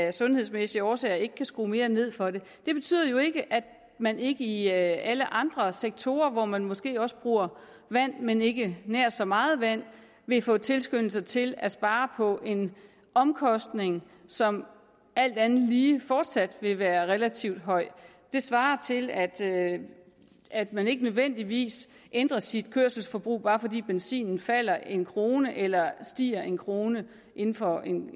af sundhedsmæssige årsager ikke kan skrue mere ned for det det betyder jo ikke at man ikke i alle andre sektorer hvor man måske også bruger vand men ikke nær så meget vand vil få en tilskyndelse til at spare på en omkostning som alt andet lige fortsat vil være relativt høj det svarer til at at man ikke nødvendigvis ændrer sit kørselsforbrug bare fordi benzinen falder en krone eller stiger en krone inden for